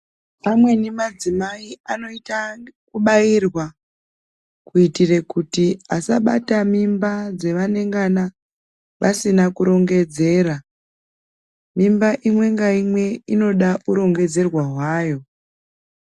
Amweni madzimai anoita ekubairwa kuitire kuti asabata mimba dzevanengana vasina kurongedzera. Mimba imwe ngaimwe inoda urongedzerwa hwayo.